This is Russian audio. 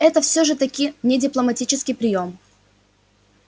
это же всё-таки не дипломатический приём